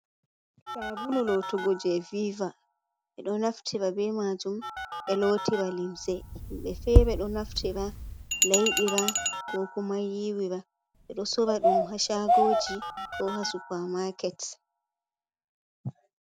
Sa'bulu lotugo je viva, ɓe ɗo naftira be majum ɓe lotira limse, himɓe fere ɗo naftira laiɓira, ko kuma yiwira, ɓe ɗo sora ɗum ha sha'goji ko ha supa ma'ket.